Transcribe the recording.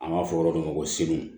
An b'a fɔ yɔrɔ dɔ ma ko seluw